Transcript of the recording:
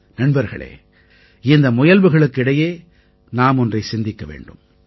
நண்பர்களே இந்த முயல்வுகளுக்கு இடையே நாம் ஒன்றைச் சிந்திக்க வேண்டும்